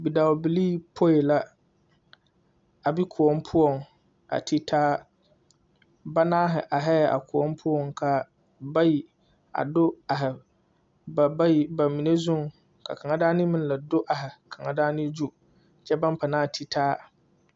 Bidɔɔbilee poe la a be koɔ poɔŋ a ti taa banaare arɛɛ koɔ poɔŋ ka bayi a do are ba bayi ba zuŋ ka kaŋa daŋna meŋ la do are kaŋa daŋna gyu kyɛ baŋ panaa titaa.